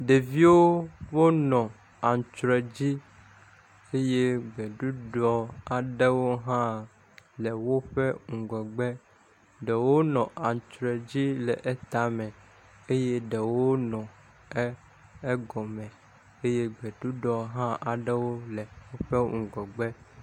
Ɖevio wonɔ aŋtsruɛ dzi eye gbeɖuɖɔ aɖewo hã le woƒe ŋgɔgbe. Ɖewo nɔ aŋtsruɛ dzi le eƒe tame eye ɖewo nɔ e egɔme eye gbeɖuɖɔ hã le woƒe ŋgɔgbe.